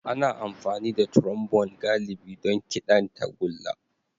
Ana amfani da Trombone galibi don kiɗan tagulla.